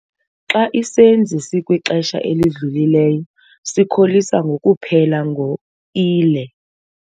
Xa isenzi sikwixesha elidlulileyo sikholisa ngokuphela ngo-ile.